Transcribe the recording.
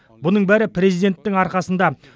бұның бәрі президенттің арқасында